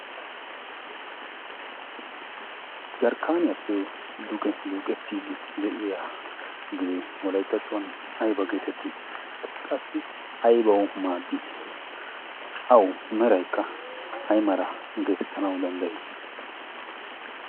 jarkkaaniyaappe duge duuqettiid de'iya dee walyttattuwan ayba geetettii? qassi aibawu maaddii awu meraikka ay mara geetettanawu danddayii?